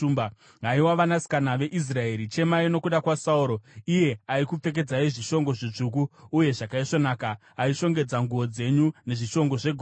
“Haiwa vanasikana veIsraeri, chemai nokuda kwaSauro, iye aikupfekedzai zvishongo zvitsvuku uye zvakaisvonaka, aishongedza nguo dzenyu nezvishongo zvegoridhe.